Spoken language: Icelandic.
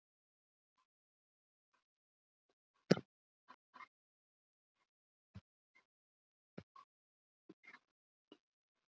Þess vegna þarf maður að skilja hvernig breytileiki og frávik eru möguleg í erfðaefni lífveranna.